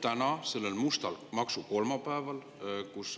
Täna, sellel mustal maksukolmapäeval,